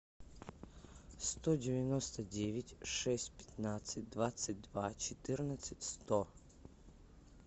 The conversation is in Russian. сто девяносто девять шесть пятнадцать двадцать два четырнадцать сто